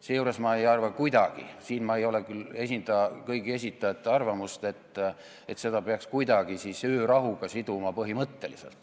Seejuures ei arva ma kuidagi – siin ma küll ei esinda kõigi esitajate arvamust –, et seda peaks kuidagi öörahuga siduma.